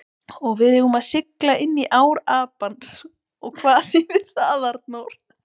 Og við erum að sigla inní ár Apans og hvað þýðir það, Arnþór?